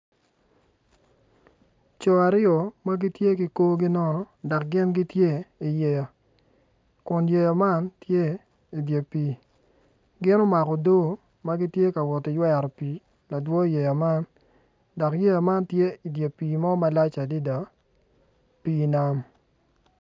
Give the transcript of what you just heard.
Coo aryo ma gin gitye ki korgi nono kun yeya man tye idye pii gin omako odo ma gitye ka woti ywero pii ladwo yeya man dok yeya man tye i dye pii mo malac adada pii nam.